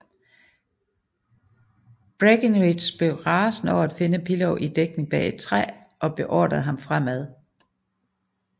Breckinridge blev rasende over at finde Pillow i dækning bag et træ og beordrede ham fremad